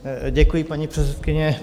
Děkuji, paní předsedkyně.